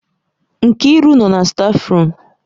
Nkiru nọ na stáfruum.